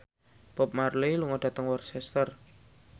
Bob Marley lunga dhateng Worcester